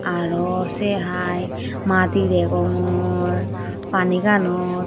Aro se hai madi degongor Pani ganot.